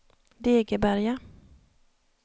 Degeberga